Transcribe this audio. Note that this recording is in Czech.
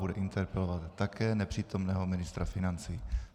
Bude interpelovat také nepřítomného ministra financí.